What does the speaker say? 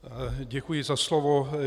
Děkuji za slovo.